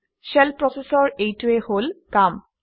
shell process ৰ এইটোৱেই হল কাম